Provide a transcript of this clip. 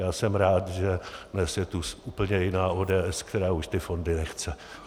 Já jsem rád, že dnes je tu úplně jiná ODS, která už ty fondy nechce.